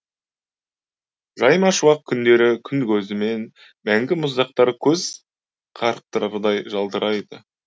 жаймашуақ күндері күн көзімен мәңгі мұздақтар көз қарықтырардай жалтырайды